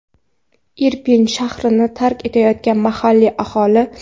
Irpin shahrini tark etayotgan mahalliy aholi.